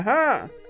Hə, hə.